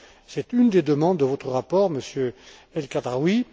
C'est une des demandes de votre rapport, Monsieur El Khadraoui.